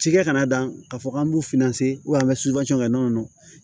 Cikɛ kana dan k'a fɔ k'an b'u finna se an bɛ kɛ nɔnɔ